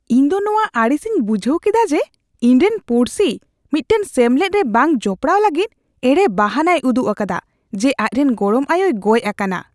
ᱤᱧᱫᱚ ᱱᱚᱣᱟ ᱟᱹᱲᱤᱥ ᱤᱧ ᱵᱩᱡᱷᱟᱹᱣ ᱠᱮᱫᱟ ᱡᱮ ᱤᱧᱨᱮᱱ ᱯᱩᱲᱥᱤ ᱢᱤᱫᱴᱟᱝ ᱥᱮᱢᱞᱮᱫ ᱨᱮ ᱵᱟᱝ ᱡᱚᱯᱚᱲᱟᱣ ᱞᱟᱹᱜᱤᱫ ᱮᱲᱮ ᱵᱟᱦᱟᱱᱟᱭ ᱩᱫᱩᱜ ᱟᱠᱟᱫᱟ ᱡᱮ ᱟᱡᱨᱮᱱ ᱜᱚᱲᱚᱢ ᱟᱭᱳᱭ ᱜᱚᱡ ᱟᱠᱟᱱᱟ ᱾